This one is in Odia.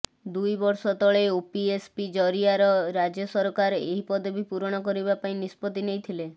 ଦୁଇ ବର୍ଷ ତଳେ ଓପିଏସ୍ସି ଜରିଆର ରାଜ୍ୟ ସରକାର ଏହି ପଦବି ପୂରଣ କରିବା ପାଇଁ ନିଷ୍ପତ୍ତି ନେଇଥିଲେ